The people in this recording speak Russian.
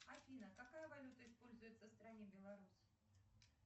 афина какая валюта используется в стране беларусь